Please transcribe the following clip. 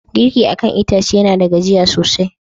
Girki akan itace yana da gajuya sosai.